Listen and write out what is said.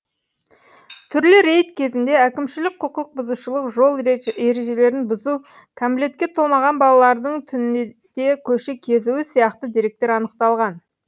түрлі рейд кезінде әкімшілік құқық бұзушылық жол ережелерін бұзу кәмілетке толмаған балалардың түнде көше кезуі сияқты деректер анықталған